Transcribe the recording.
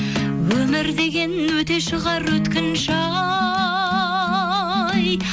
өмір деген өте шығар өткінші ай